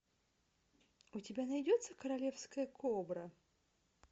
у тебя найдется королевская кобра